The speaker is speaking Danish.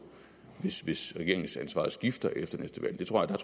hvis regeringsansvaret skifter efter næste valg der tror jeg